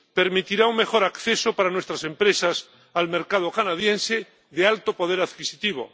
Permitirá un mejor acceso para nuestras empresas al mercado canadiense de alto poder adquisitivo.